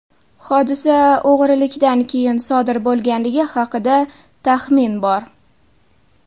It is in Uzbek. Hodisa o‘g‘rilikdan keyin sodir bo‘lganligi haqida taxmin bor.